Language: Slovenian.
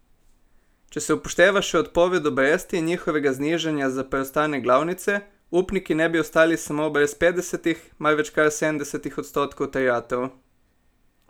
Če se upošteva še odpoved obresti in njihovega znižanja za preostanek glavnice, upniki ne bi ostali samo brez petdesetih, marveč kar sedemdesetih odstotkov terjatev.